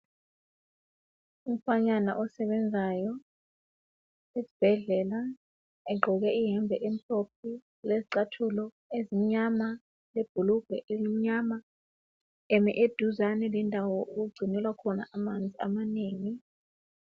Umfanyana osebenzayo esibhedlela egqoke ihembe emhlophe, lezicathulo ezimnyama, lebhulugwe elimnyama, emi eduzane lendawo okugcinelwa khona amanzi amanengi.